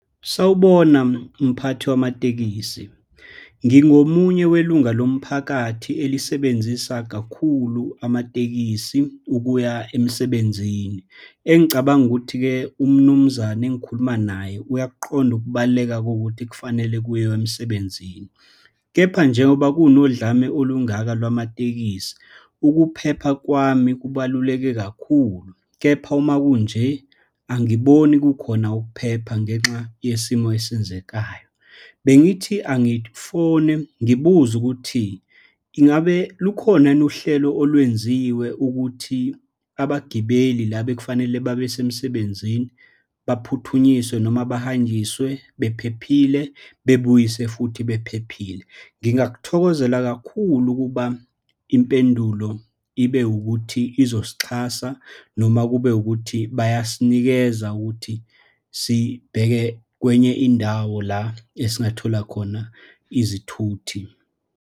Sawubona mphathi wamatekisi. Ngingomunye welunga lomphakathi elisebenzisa kakhulu amatekisi ukuya emsebenzini. Engicabanga ukuthi-ke umnumzane engikhuluma naye uyakuqonda ukubaluleka kokuthi kufanele kuyiwe emsebenzini. Kepha njengoba kunokudlame olungaka lwamatekisi, ukuphepha kwami kubaluleke kakhulu, kepha uma kunje, angiboni kukhona ukuphepha ngenxa yesimo esenzakayo. Bengithi angifone ngibuze ukuthi, ingabe lukhona yini uhlelo olwenziwe ukuthi abagibeli la bekufanele babesemsebenzini baphuthunyiswe noma bahanjiswe bephephile, babuyiswe futhi bephephile? Ngingakuthokozela kakhulu ukuba impendulo ibe ukuthi uzosixhasa, noma kube ukuthi bayasinikeza ukuthi sibheke kwenye indawo la esingathola khona izithuthi.